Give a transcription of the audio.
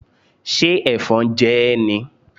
Ṣé Ẹ̀fọn jẹ ẹ́ ni?